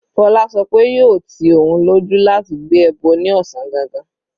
Fola sọ pé yóò ti òun lójú láti gbé ẹbọ ní ọ̀sán gangan.